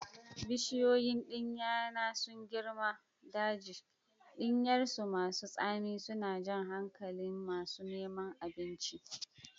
Bishiyoyin ɗinya na sun girma daji, ɗinyarsu masu tsami suna jan hankalin masu neman abinci.